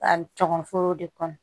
A tɔgɔ foro de kɔnɔ